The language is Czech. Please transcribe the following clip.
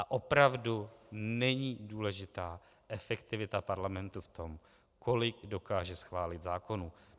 A opravdu není důležitá efektivita parlamentu v tom, kolik dokáže schválit zákonů.